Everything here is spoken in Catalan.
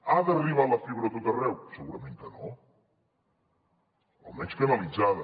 ha d’arribar la fibra a tot arreu segurament que no almenys canalitzada